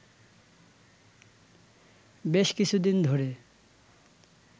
বেশ কিছুদিন ধরে